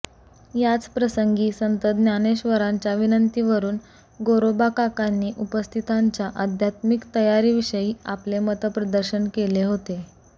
याचप्रसंगी संत ज्ञानेश्वरांच्या विनंतीवरून गोरोबाकाकांनी उपस्थितांच्या आध्यात्मिक तयारीविषयी आपले मतप्रदर्शन केले होते